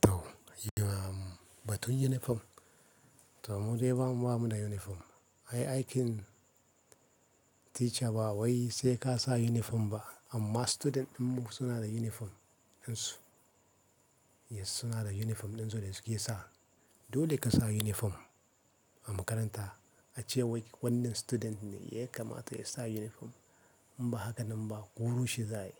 Toh ba tun uniform. Toh mu dai ba mu ba mu da uniform. Ai aikin teacher ba wai sai ka sa uniform ba amma student ɗinmu suna da uniform ɗinsu. Yes suna da uniform ɗinsu da suke sa. Dole ka sa uniform a makaranta ace wai wannan student ne ya kamata ya sa uniform. In ba haka nan ba koro shi za ayi.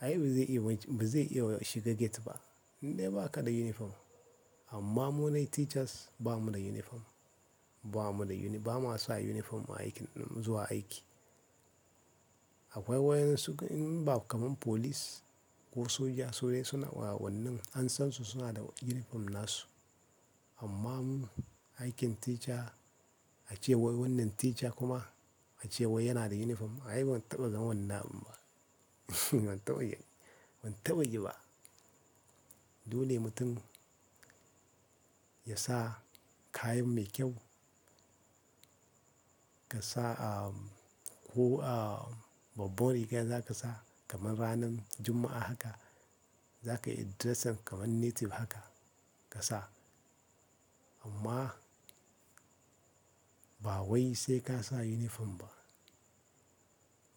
Ai ba zai iya waj- ba zai iya shiga gate ba indai ba kaɗa uniform. Amma mu dai teachers ba mu da uniform. Ba mu da uni-- ba ma sa uniform a aikin ɗinmu zuwa aiki. Akwai wainsu in ba kamar police ko soja su dai suna wa wannan an san su suna da uniform nasu. Amma mu aikin teacher ace wai wannan teacher kuma ace wai yana da uniform ai ban taɓa gan wannan abun. Ban taɓa yi, ban taɓa yi ba. Dole mutum ya sa kayan mai kyau. Ka sa, ko babbar riga za ka sa kamar ranan Juma'a haka. Zaka interesting kaman native haka kasa amma ba wai sai ka sa uniform ba.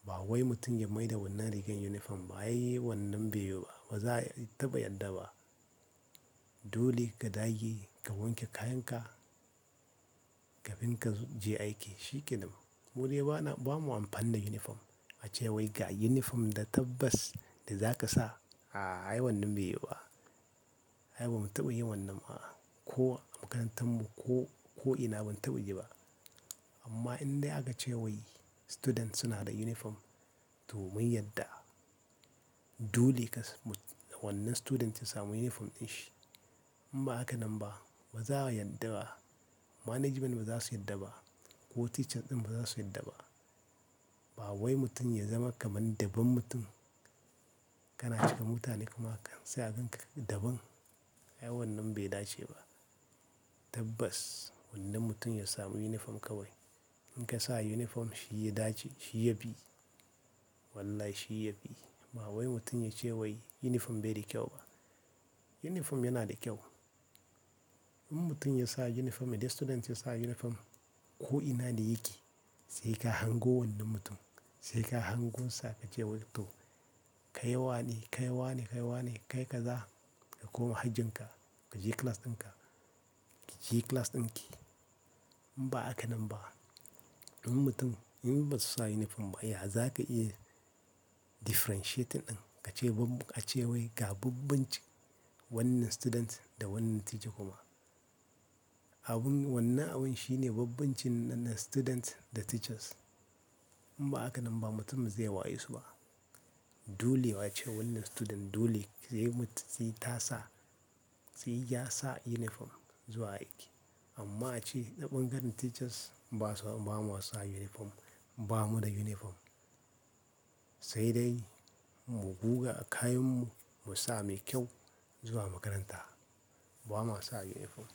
Ba wai mutum ya maida wannan rigar uniform ba ai wannan bai yiwu wa. Ba za a taɓa yadda ba. Dole ka dage ka wanke kayan ka, ka dinka ka je aiki shi kenan. Mu dai ba na, ba mu amfana uniform. Ace wai ga uniform da tabbas da za ka sa a ai wannan bai yiwu ba. Ai ba mu taɓa yin wannan ba ko a makarantan mu ko, ko ina ban taɓa yi ba. Amma in dai akace wai students suna da uniform toh mun yadda dole ka mut- wannan student ya samu uniform ɗin shi. In ba haka nan ba ba za a yadda ba. Management ba za su yarda ba ko teacher ɗin ba za su yarda ba. Ba wai mutum ya zama kaman deban mutum. Kana cika mutane kuma kan sai a ganka daban. Ai wannan bai dace ba. Tabbas wannan mutum ya samu uniform kawai. In ka sa uniform shi ya dace shi ya fi. Wallahi shi ya bi. Ba wai mutum ya ce wai uniform bai da kyau ba. Uniform yana da kyau. In mutum ya sa uniform idan student ya sa uniform ko ina da yake sai ka hango wannan mutum. Sai ka hango sa ka ce wai to kai wane, kai wane, kai wane, kai ka za ka koma hajjin ka. Ka je class ɗin ka. Ki je class ɗin ki. In ba haka nan ba in mutum in basu sa uniform ba ya za ka iya differentiating ɗin ka ce bamb- ace wai ga bambancin wannan student da wannan teacher kuma. Abun wannan abun shine bambancin nan na student da teachers. In ba haka nan ba mutum ba zai waye su ba. Dole ace wannan student dole zai mu- sai ta sa, sai ya sa uniform zuwa aiki. Amma ace na kpangaran teachers ba su, ba mu sa uniform. Ba mu da uniform. Sai dai mu guga a kayan mu mu sa mai kyau zuwa makaranta. Ba ma sa uniform.